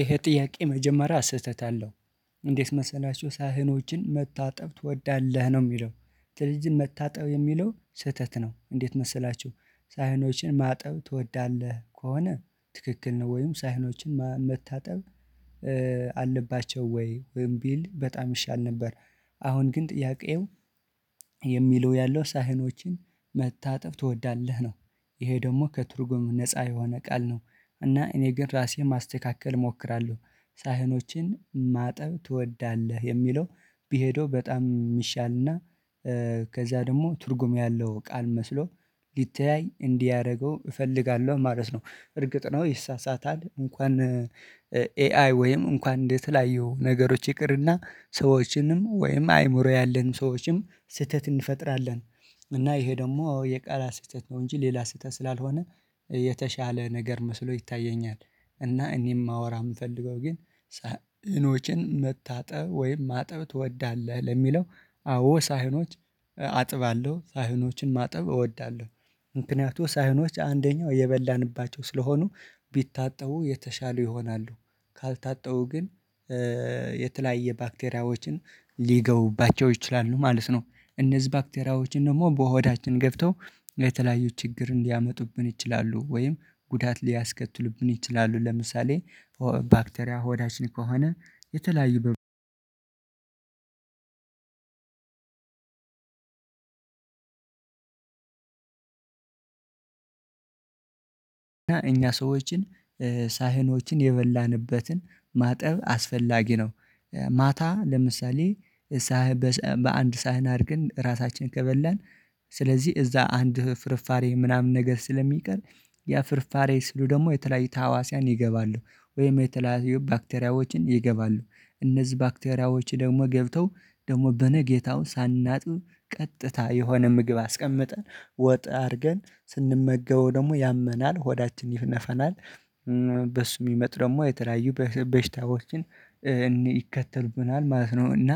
ይሄ ጥያቄ መጀመሪያ ስህተት አለው። እንዴት መሰላችሁ ሳህኖችን መታጠብ ትወዳለህ ነው የሚለው? ስለዚህ መታጠብ የሚለው ስህተት ነው። እንዴት መሰላችሁ? ሳህኖችን ማጠብ ትወዳለህ ከሆነ ትክክል ነው ወይም ሳይኖችን መታጠብ አለባቸው ወይ ወይም ቢል በጣም ይሻል ነበር። አሁን ግን ጥያቄው የሚለው ያለው ሳህኖችን መታጠብ ትወዳለህ ነው። ይሄ ደግሞ ከትርጉም ነፃ የሆነ ቃል ነው። እና እኔ ግን ራሴ ማስተካከል እሞክራለሁ ሳህኖችን ማጠብ ትወዳለህ የሚለው ቢሄደው በጣም የሚሻልና ከዛ ደግሞ ትርጉም ያለው ቃል መስሎ ሊተያይ እንዲያደርገው እፈልጋለሁ ማለት ነው። እርግጥ ነው ይሳሳታል እንኳን ኤአይ ወይም እንኳን እንደተለያዩ ነገሮች ይቅርና ሰዎችንም ወይም አይምሮ ያለን ሰዎችንም ስህተት እንፈጥራለን። እና ይሄ ደግሞ የቃላት ስህተት ነው እንጂ ሌላ ስህተት ስላልሆነ የተሻለ ነገር መስሎ ይታየኛል። እና እኔ የማወራ የምፈልገው ግን ሳህኖችን መታጠብ ወይም ማጠብ ትወዳለህ ለሚለው አዎ ሳህኖች አጥባለሁ ሳህኖችን ማጠብ እወዳለሁ ምክንያቱም ሳህኖች አንደኛው የበላንባቸው ስለሆኑ ቢታጠው የተሻሉ ይሆናሉ። ካልታጠቡ ግን የተለያየ ባክቴሪያዎችን ሊገቡባቸው ይችላሉ ማለት ነው። እነዚህ ባክቴሪያዎች ደግሞ በሆዳችን ገብተው የተለያዩ ችግርን ሊያመጡብን ይችላሉ። ወይም ጉዳት ሊያስከትሉብን ይችላሉ። ለምሳሌ ባክቴሪያ ሆዳችን ከሆነ የተለያዩ እኛ ሰዎችን ሳህኖችን የበላንበትን ማጠብ አስፈላጊ ነው። ማታ ለምሳሌ በአንድ ሳህን አድርገን ራታችንን ከበላን ስለዚህ እዛ አንድ ፍርፋሬ ምናምን ነገር ስለሚቀር ያ ፍርፋሬ ስሉ ደግሞ የተለያየ ታዋሲያን ይገባሉ ወይም የተለያዩ ባክቴሪያዎችን ይገባሉ። እነዚህ ባክቴሪያዎች ደግሞ ገብተው ደግሞ በነ ጌታው ሳናጥብ ቀጥታ የሆነ ምግብ አስቀምጠን ወጥ አድርገን ስንመገበው ደግሞ ያመናል ሆዳችን ይነፈናል። በሱ የሚመጡ ደግሞ የተለያዩ በሽታዎችን ይከተሉብናል ማለት ነው። እና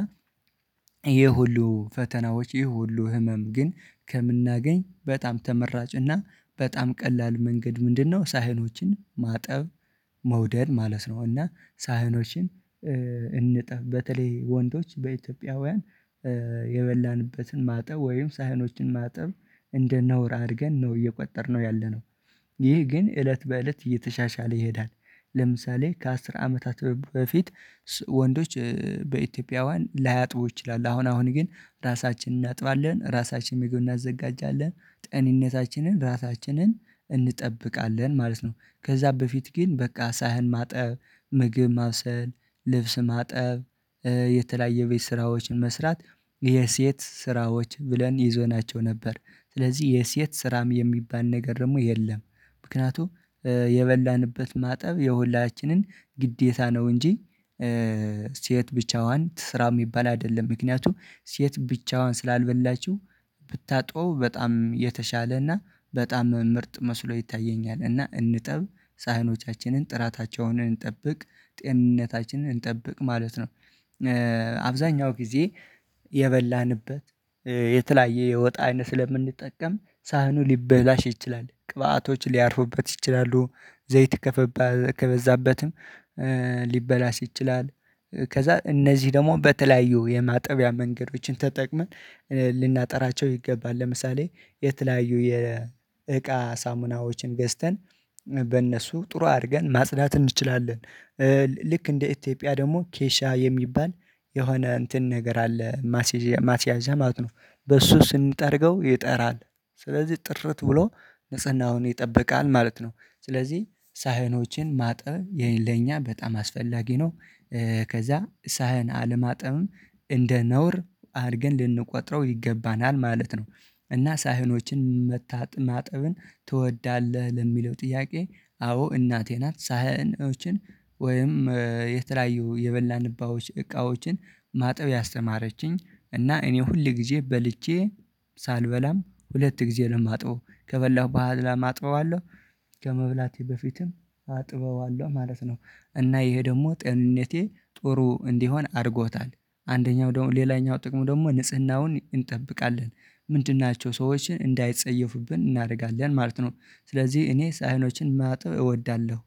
ይሄ ሁሉ ፈተናዎች ይሄ ሁሉ ህመም ግን ከምናገኝ በጣም ተመራጭ እና በጣም ቀላል መንገድ ምንድነው ሳህኖችን ማጠብ። መውደድ ማለት ነው። እና ሳህኖችን እንጠብ በተለይ ወንዶች በኢትዮጵያውያን የበላንበትን ማጠብ ወይም ሳህኖችን ማጠብ እንደ ነውር አድርገን ነው እየቆጠርነው ያለነው። ይህ ግን እለት በእለት እየተሻሻለ ይሄዳል። ለምሳሌ ከአስር አመታት በፊት ወንዶች በኢትዮጵያውያን ላያጥቡ ይችላሉ አሁን አሁን ግን ራሳችን እናጥባለን ራሳችንም ምግብ እናዘጋጃለን ጤንነታችንን ራሳችን እንጠብቃለን ማለት ነው። ከዛ በፊት ግን በቃ ሳህን ማጠር ምግብ ማብሰል ልብስ ማጠብ። የተለያየ ቤት ስራዎችን መስራት የሴት ስራዎች ብለን ይዘናቸው ነበር። ስለዚህ የሴት ስራም የሚባል ነገር ደግሞ የለም። ምክንያቱም የበላንበት ማጠብ የሁላችንም ግዴታ ነው እንጂ ሴት ብቻዋን ትስራ የሚባል አይደለም። ምክንያቱም ሴት ብቻዋን ስላልበላችሁ ብታጥበው በጣም የተሻለና በጣም ምርጥ መስሎ ይታየኛል። እና እንጠብ ሳህኖቻችንን ጥራታቸውን እንጠብቅ ጤንነታችንን እንጠብቅ ማለት ነው። አብዛኛው ጊዜ የበላንበት የተለያየ የወጥ አይነት ስለምንጠቀም ሳህኑ ሊበላሽ ይችላል ቅባቶች ሊያርፉበት ይችላሉ። ዘይት ከበዛበትም ሊበላሽ ይችላል። ከዛ እነዚህ ደግሞ በተለያዩ የማጠቢያ መንገዶችን ተጠቅመን ልናጠራቸው ይገባል ለምሳሌ የተለያዩ የእቃ ሳሙናዎችን ገዝተን በእነሱ ጥሩ አድርገን ማጽዳት እንችላለን። ልክ እንደ ኢትዮጵያ ደግሞ ኬሻ የሚባል የሆነ እንትን ነገር አለ። ማስያዣ ማለት ነው በሱ ስንጠርገው ይጠራል። ስለዚህ ጥርት ብሎ ንጽህናውን ይጠበቃል ማለት ነው። ስለዚህ ሳህኖችን ማጠብ ለኛ በጣም አስፈላጊ ነው። ከዛ ሳህን አለማጠብም እንደ ነውር አድርገን ልንቆጥረው ይገባናል ማለት ነው። እና ሳህኖችን ማጠብን ትወዳለህ ለሚለው ጥያቄ አዎ እናቴ ናት ሳህኖችን ወይም የተለያዩ የበላንባቸውን እቃዎችን ማጠብ ያስተማረችኝ እና እኔ ሁል ጊዜ በልቼ ሳልበላም ሁለት ጊዜ ነው የማጥበው ከበላሁ በኋላም አጥበዋለሁ። በፊትም አጥበዋለሁ ማለት ነው። እና ይሄ ደግሞ ጤንነቴ ጥሩ እንዲሆን አድርጎታል። አንደኛው ደግሞ ሌላኛው ጥቅሙ ደግሞ ንጽህናውን እንጠብቃለን። ምንድን ናቸው ሰዎችን እንዳይጸየፉብን እናደርጋለን ማለት ነው። ስለዚህ እኔ ሳይኖችን ማጠብ እወዳለሁ